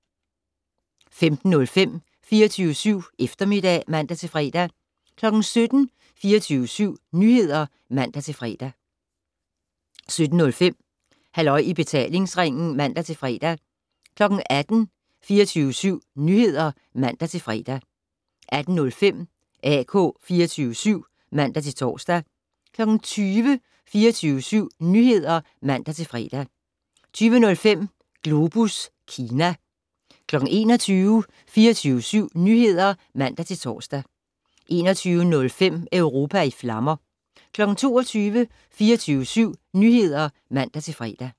15:05: 24syv Eftermiddag (man-fre) 17:00: 24syv Nyheder (man-fre) 17:05: Halløj i betalingsringen (man-fre) 18:00: 24syv Nyheder (man-fre) 18:05: AK 24syv (man-tor) 20:00: 24syv Nyheder (man-fre) 20:05: Globus Kina 21:00: 24syv Nyheder (man-tor) 21:05: Europa i flammer 22:00: 24syv Nyheder (man-fre)